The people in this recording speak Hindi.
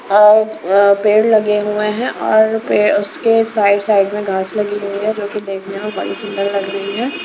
अ पेड़ लगे हुए हैं और उसके साइड साइड में घास लगी हुई है जो कि देखने में बड़ी सुंदर लग रही है।